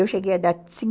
Eu cheguei a dar